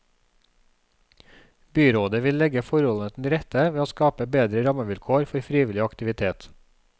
Byrådet vil legge forholdene til rette ved å skape bedre rammevilkår for frivillig aktivitet.